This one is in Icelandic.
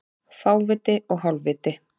Fáviti og hálfviti